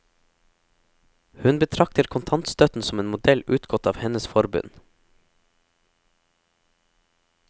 Hun betrakter kontantstøtten som en modell utgått av hennes forbund.